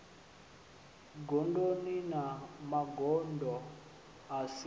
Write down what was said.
gondoni na magondo a si